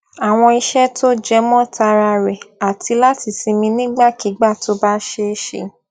àwọn iṣé tó jẹmó tara rè àti láti sinmi nígbàkigbà tó bá ṣeé ṣe